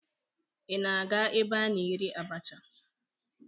Ị na-aga ebe a na-ere abacha?